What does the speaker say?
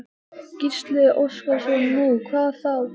Gísli Óskarsson: Nú, hvað þá?